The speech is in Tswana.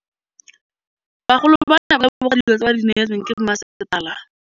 Bagolo ba ne ba leboga dijô tse ba do neêtswe ke masepala.